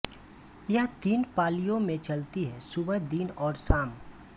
यह तीन पालियों में चलती है सुबह दिन और शाम